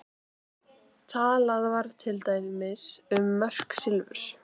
Talað var til dæmis um mörk silfurs.